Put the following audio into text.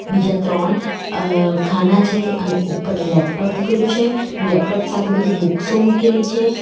બીજા ત્રણ અ ખાના છે અને ઉપર લેપટોપ મૂકેલું છે લેપટોપ સાથે બધી બુકસો મૂકેલી છે.